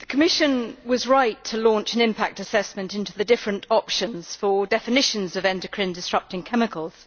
Mr President, the Commission was right to launch an impact assessment into the different options for definitions of endocrine-disrupting chemicals.